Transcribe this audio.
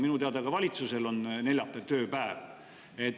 Minu teada on ka valitsusel neljapäeval tööpäev.